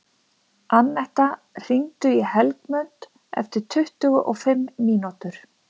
Annetta, hringdu í Helgmund eftir tuttugu og fimm mínútur.